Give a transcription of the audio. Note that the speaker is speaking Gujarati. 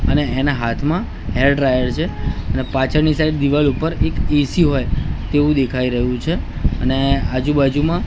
અને એના હાથમાં હેર ડ્રાયર છે અને પાછળની સાઈડ દિવાલ ઉપર એક એ_સી હોય તેવું દેખાય રહ્યું છે અને આજુબાજુમાં--